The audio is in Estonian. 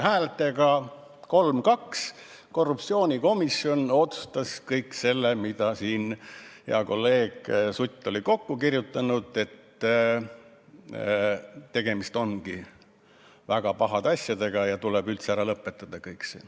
Häältega 3 : 2 otsustas korruptsioonikomisjon kõik selle, mille hea kolleeg Sutt oli kokku kirjutanud – et tegemist ongi väga pahade asjadega ja kõik see tuleb üldse ära lõpetada.